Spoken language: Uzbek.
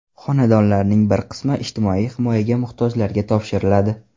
Xonadonlarning bir qismi ijtimoiy himoyaga muhtojlarga topshiriladi.